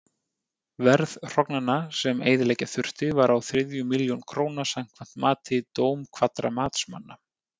Verð hrognanna, sem eyðileggja þurfti, var á þriðju milljón króna samkvæmt mati dómkvaddra matsmanna.